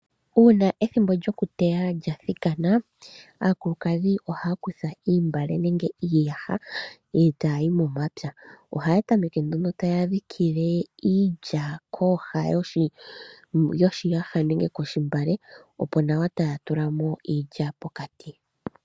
Uuna ethimbo lyokuteya lya thikana aakulukadhi ohaya kutha oontungwa nenge iiyaha e taya yi momapya. Ohaya tameke nduno taya ndjikike iilya kooha dhoshiyaha nenge kontungwa opo nawa ya tule iilya pokati.